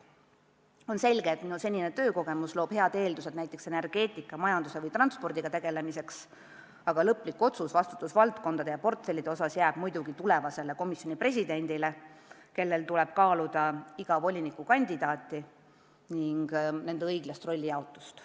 On selge, et minu senine töökogemus loob head eeldused energeetika, majanduse või transpordiga tegelemiseks, aga lõplik otsus vastutusvaldkondade ja portfellide osas jääb muidugi tulevasele komisjoni presidendile, kellel tuleb kaaluda iga volinikukandidaati ning õiget rollijaotust.